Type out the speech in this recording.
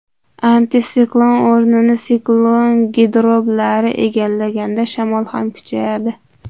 Antisiklon o‘rnini siklon girdoblari egallaganda shamol ham kuchayadi.